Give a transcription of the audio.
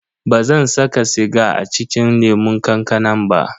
Bazan saka siga a cikin lemun kankanan ba.